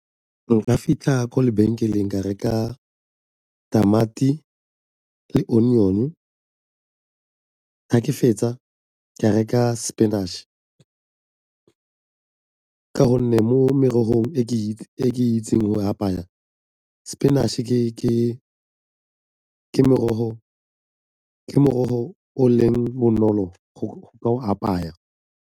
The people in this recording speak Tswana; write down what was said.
Nka fitlha ko lebenkeleng ka reka tamati le onion-e ga ke fetsa ka reka spinach ka gonne mo merogong e ke itseng go e apaya spinach-e ke morogo o leng bonolo go ka o apaya.